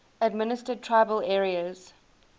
administered tribal areas